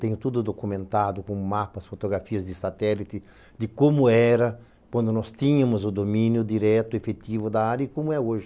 Tenho tudo documentado com mapas, fotografias de satélite, de como era quando nós tínhamos o domínio direto, efetivo da área e como é hoje.